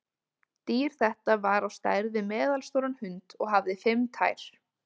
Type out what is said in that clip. Dýr þetta var á stærð við meðalstóran hund og hafði fimm tær.